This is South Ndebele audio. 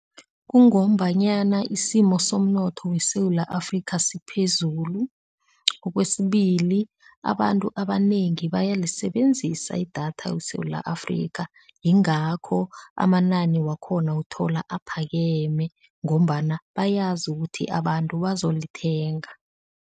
Kungombanyana isimo somnotho weSewula Afrika siphezulu, okwesibili abantu abanengi baya elisebenzisa idatha weSewula Afrika yingakho amanani wakhona uthola aphakeme ngombana bayazi ukuthi abantu bazolithenga.